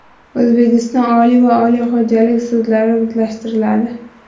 O‘zbekiston Oliy va Oliy xo‘jalik sudlari birlashtiriladi.